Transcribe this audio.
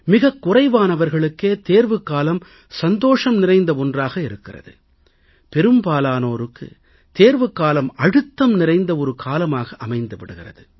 மிகக் குறைவானவர்களுக்கே தேர்வுக்காலம் சந்தோஷம் நிறைந்த ஒன்றாக இருக்கிறது பெரும்பாலானோருக்கு தேர்வுக்காலம் அழுத்தம் நிறைந்த ஒரு காலமாக அமைந்து விடுகிறது